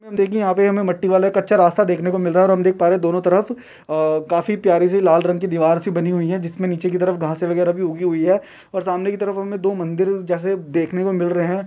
उम्म देखिए यहां पे हमे मट्टी वाला कच्चा रास्ता देखने को मिल रहा है और हम देख पा रहे हैं दोनों तरफ अ काफी प्यारी सी लाल रंग की दीवार सी बनी हुई है जिसमें नीचे की तरफ घासे वगैरा भी उगी हुई है और सामने की तरफ हमें दो मंदिर जैसे देखने को मिल रहे हैं।